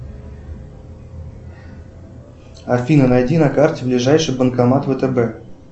афина найди на карте ближайший банкомат втб